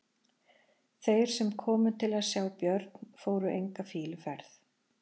Þeir sem komu til að sjá Björn fóru enga fýluferð.